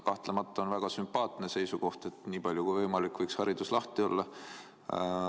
Kahtlemata on väga sümpaatne seisukoht, et nii palju kui võimalik, võiks koolid lahti olla.